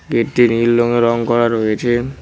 গেটটি নীল রঙে রং করা রয়েছে।